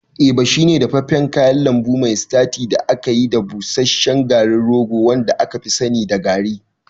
Eba shine dafaffen kayan lambu mai sitaci da aka yi da busasshen garin rogo wanda aka fi sani da garri.